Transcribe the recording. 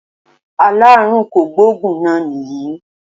Aláàrùn kògbóògùn náà nìyí